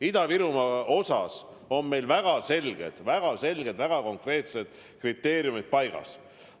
Ida-Virumaa puhul on meil väga selged, väga konkreetsed kriteeriumid paigas.